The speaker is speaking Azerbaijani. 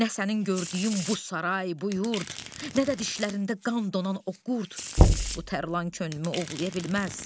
Nə sənin gördüyün bu saray, bu yurd, nə də dişlərində qan donan o qurd bu Tərlan könlümü ovlaya bilməz.